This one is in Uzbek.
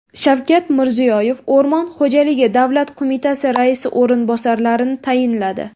Shavkat Mirziyoyev O‘rmon xo‘jaligi davlat qo‘mitasi raisi o‘rinbosarlarini tayinladi.